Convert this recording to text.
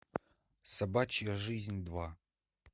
собачья жизнь два